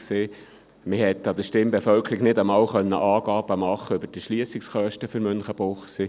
Man konnte der Stimmbevölkerung nicht einmal Angaben über die Erschliessungskosten für Münchenbuchsee machen.